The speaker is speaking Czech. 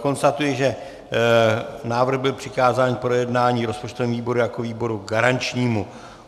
Konstatuji, že návrh byl přikázán k projednání rozpočtovému výboru jako výboru garančnímu.